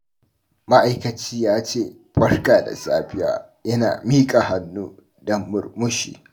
Ma’aikaci ya ce "Barka da safiya" yana miƙa hannu da murmushi.